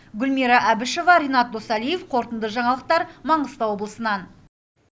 гүлмира әбішева ренат досалиев қорытынды жаңалықтар маңғыстау облысынан